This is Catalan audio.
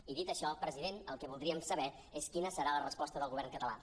i dit això president el que voldríem saber és quina serà la resposta del govern català